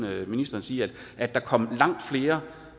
ministeren sige at der kom langt flere